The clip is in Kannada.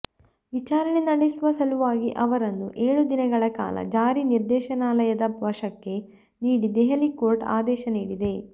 ವಿಚಾರಣೆ ನಡೆಸುವ ಸಲುವಾಗಿ ಅವರನ್ನು ಏಳು ದಿನಗಳ ಕಾಲ ಜಾರಿ ನಿರ್ದೇಶನಾಲಯದ ವಶಕ್ಕೆ ನೀಡಿ ದೆಹಲಿ ಕೋರ್ಟ್ ಆದೇಶ ನೀಡಿದೆ